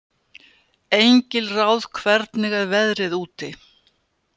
Engilráð, hvernig er veðrið úti?